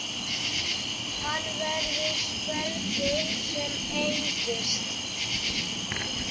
Hann verður svelgur sem engist.